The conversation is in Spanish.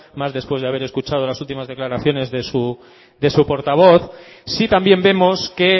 más después de haber escuchado las últimas declaraciones de su portavoz sí también vemos que